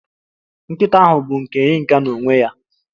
Nkịta ahụ bụ nke Yinka n'onwe ya